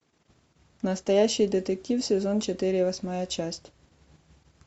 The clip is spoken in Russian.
настоящий детектив сезон четыре восьмая часть